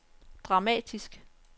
dramatisk